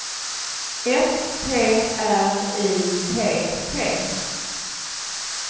S P R I T T